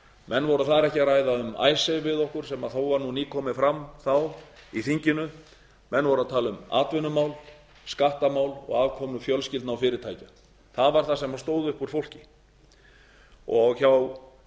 menn voru þar ekki að ræða um icesave við okkur sem þó var nýkomið fram þá í þinginu menn voru að tala um atvinnumál skattamál og aðkomu fjölskyldna og fyrirtækja það var það sem stóð upp úr fólki hjá